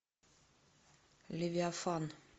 левиафан